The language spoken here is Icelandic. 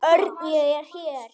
Örn, ég er hér